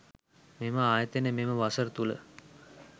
මෙම ආයතනය මෙම වසර තුළ